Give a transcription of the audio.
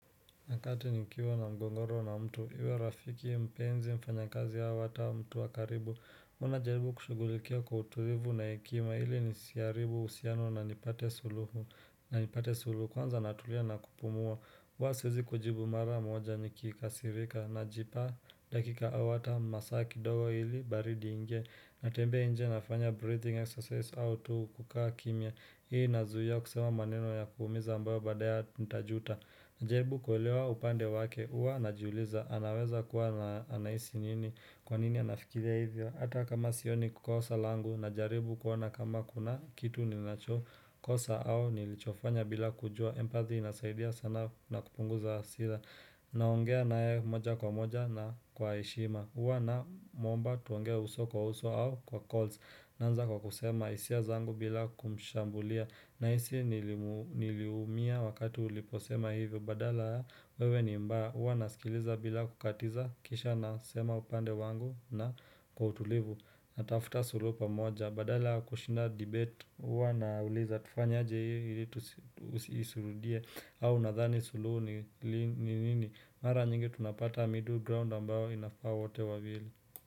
Wakati nikiwa na mgogoro na mtu iwe rafiki mpenzi mfanyakazi au hata mtu wa karibu Huwa najaribu kushugulikia kwa utulivu na hekima ili nisiharibu uhusiano na nipate suluhu na nipate suluhu kwanza natulia na kupumua huwa siwezi kujibu mara moja nikikasirika najipa dakika au hata masaa kidogo ili baridi iingie. Natembea nje nafanya breathing exercise au tu kukaa kimya Hii inazuia kusema maneno ya kuuumiza ambayo baadaya ntajuta Najaribu kuelewa upande wake uwa najiuliza anaweza kuwa anahisi nini kwa nini anafikiria hivyo Hata kama sioni kosa langu najaribu kuona kama kuna kitu ninacho kosa au nilichofanya bila kujua Empathy inasaidia sana na kupunguza hasira naongea naye moja kwa moja na kwa heshima huwa namuomba tuongee uso kwa uso au kwa calls naanza kwa kusema hisia zangu bila kumshambulia nahisi niliumia wakati uliposema hivyo, badala wewe ni mba, uwa nasikiliza bila kukatiza, kisha nasema upande wangu na kwa utulivu, natafuta suluhu pamoja, badala kushinda debate, huwa nauliza tufanye aje ili isirudie, au nadhani suluhu ni nini, mara nyingi tunapata middle ground ambayo inafaa wote wawili.